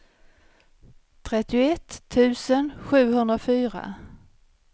trettioett tusen sjuhundrafyra